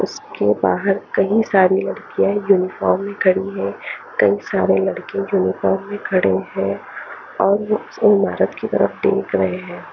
उसके बाहर कही सारी लड़किया है यूनिफार्म में खाड़ी है कही सारे लड़के यूनिफार्म में खड़े है और वो महारथ की तरफ देख रहे है।